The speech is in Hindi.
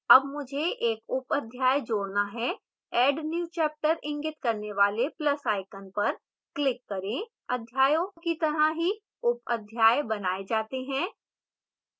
add मुझे एक उप अध्याय जोड़ना है add new chapter इंगित करने वाले plus icon पर click करें अध्यायों की तरह ही उप अध्याय बनाए जाते हैं